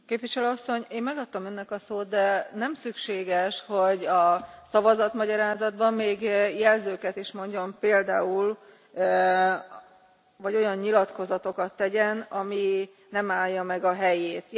Képviselő Asszony, én megadtam Önnek a szót, de nem szükséges, hogy a szavatmagyarázatban, még jelzőket is mondjon, vagy olyan nyilatkozatokat tegyen, ami nem állja meg a helyét.